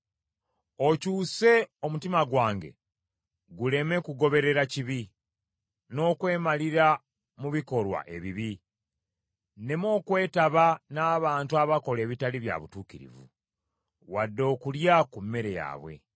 Okyuse omutima gwange guleme kugoberera kibi, n’okwemalira mu bikolwa ebibi; nneme okwetaba n’abantu abakola ebitali bya butuukirivu, wadde okulya ku mmere yaabwe.